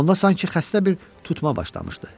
Onda sanki xəstə bir tutma başlamışdı.